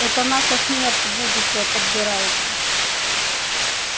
это наша смерть будущая подбирается